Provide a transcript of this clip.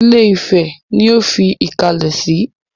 Ilé-ifẹ̀ ni ó fi ìkàlẹ̀ sí.